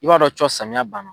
I b'a dɔn cɔ samiya banna.